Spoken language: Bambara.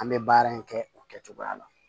An bɛ baara in kɛ o kɛcogoya la